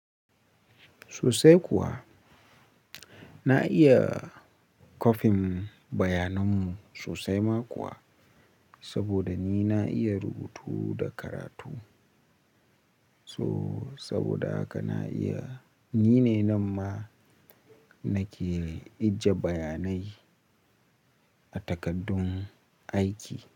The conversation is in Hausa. Sosai kuwa, na iya kwafin bayananmu sosai ma kuwa saboda ni na iya rubutu da karatu. So saboda haka na iya, ni ne nan ma nake ije bayanai a takaddun aiki.